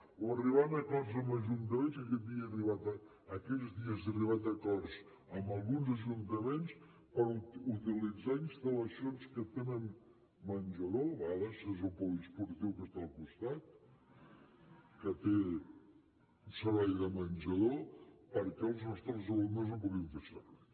o arribant a acords amb ajuntaments i aquests dies he arribat a acords amb alguns ajuntaments per utilitzar instal·lacions que tenen menjador a vegades és el poliesportiu que està al costat que té un servei de menjador perquè els nostres alumnes el puguin fer servir